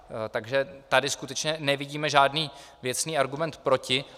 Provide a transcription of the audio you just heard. Takže tady skutečně nevidíme žádný věcný argument proti.